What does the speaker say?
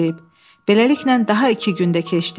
Beləliklə daha iki gün də keçdi.